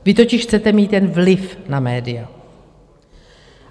Vy totiž chcete mít jen vliv na média.